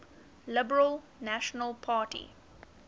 liberal national party